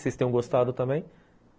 Vocês tenham gostado também.